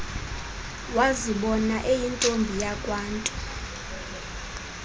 wazibona eyintombi yakwantu